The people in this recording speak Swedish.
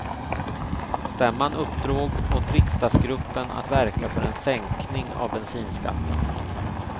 Stämman uppdrog åt riksdagsgruppen att verka för en sänkning av bensinskatten.